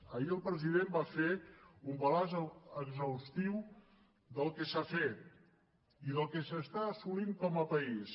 ahir el president va fer un balanç exhaustiu del que s’ha fet i del que s’està assolint com a país